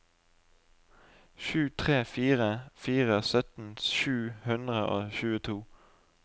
sju tre fire fire sytten sju hundre og tjueto